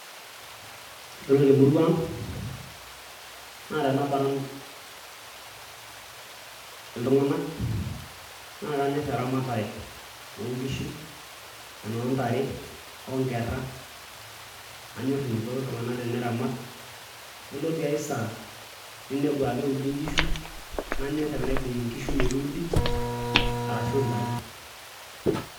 Yiolo temurua aang naatanaparan iltung'anak naakanyor eramatare oonkishu, enooontare, onkera anyor eneiko iltung'anak teneramat Yiolo tiae saa ninepu aakeudi inkishu nanyor tenaibung inkishu metuudi arashuu intare.